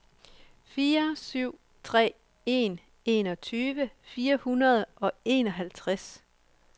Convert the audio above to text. fire syv tre en enogtyve fire hundrede og enoghalvtreds